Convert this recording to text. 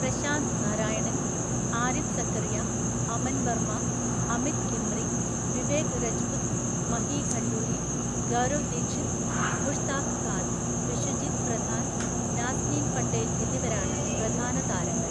പ്രശാന്ത് നാരായണൻ, ആരിഫ് സക്കറിയ, അമൻ വർമ്മ, അമിത് ദിമ്രി, വിവേക് രജ്പുത്, മഹി ഖണ്ഡൂരി, ഗൗരവ് ദീക്ഷിത്, മുഷ്താഖ് ഖാൻ, വിശ്വജീത് പ്രധാൻ, നാസ്നീൻ പട്ടേൽ എന്നിവരാണ് പ്രധാന താരങ്ങൾ.